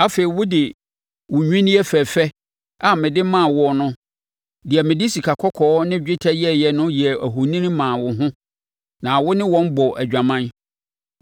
Afei wode wo nnwinneɛ fɛfɛ a mede maa wo no, deɛ mede sikakɔkɔɔ ne dwetɛ yɛeɛ no yɛɛ ahoni maa wo ho na wo ne wɔn bɔɔ adwaman.